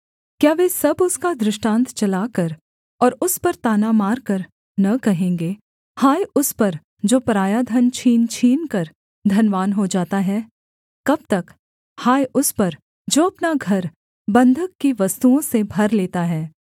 क्या वे सब उसका दृष्टान्त चलाकर और उस पर ताना मारकर न कहेंगे हाय उस पर जो पराया धन छीन छीनकर धनवान हो जाता है कब तक हाय उस पर जो अपना घर बन्धक की वस्तुओं से भर लेता है